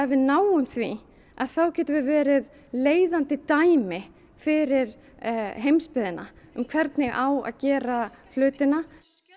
við náum því getum við verið leiðandi dæmi fyrir heimsbyggðina um hvernig á að gera hlutina